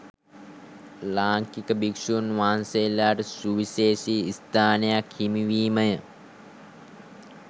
ලාංකික භික්‍ෂූන් වහන්සේලාට සුවිශේෂී ස්ථානයක් හිමිවීමය